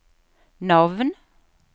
navn